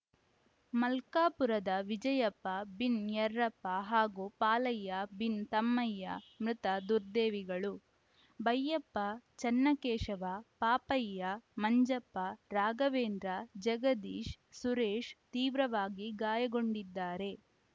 ಮಲ್ಕಾಪುರದ ವಿಜಯಪ್ಪ ಬಿನ್‌ ಯರ್ರಪ್ಪ ಹಾಗೂ ಪಾಲಯ್ಯ ಬಿನ್‌ ತಮ್ಮಯ್ಯ ಮೃತ ದುರ್ದೈವಿಗಳು ಬೈಯಪ್ಪ ಚನ್ನಕೇಶವ ಪಾಪಯ್ಯ ಮಂಜಪ್ಪ ರಾಘವೇಂದ್ರ ಜಗದೀಶ್‌ ಸುರೇಶ್‌ ತೀವ್ರವಾಗಿ ಗಾಯಗೊಂಡಿದ್ದಾರೆ